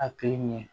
A tɛ ɲɛ